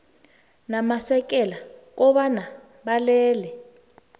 namasekela kobana balele